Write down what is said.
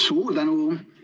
Suur tänu!